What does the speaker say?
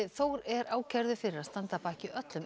Þór er ákærður fyrir að standa að baki öllum